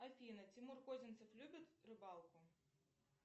афина тимур козинцев любит рыбалку